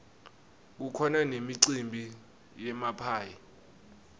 kukhona nemicimbi yemaphayhi